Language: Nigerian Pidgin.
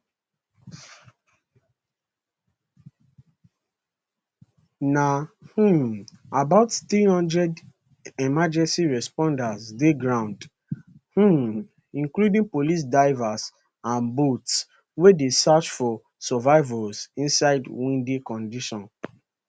na um about 300 emergency responders dey ground um including police divers and boats wey dey search for survivors inside windy condition